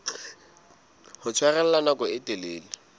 ho tshwarella nako e telele